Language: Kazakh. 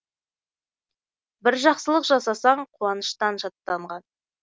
бір жақсылық жасасаң қуаныштан шаттанған